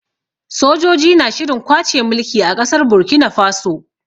Sojoji na shirin kwace mulki a ƙasar Burkina Faso.